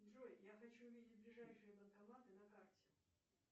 джой я хочу видеть ближайшие банкоматы на карте